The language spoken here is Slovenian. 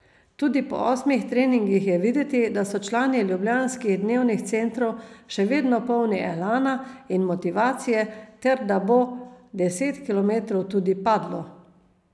Tudi po osmih treningih je videti, da so člani ljubljanskih dnevnih centrov še vedno polni elana in motivacije ter da bo deset kilometrov tudi padlo.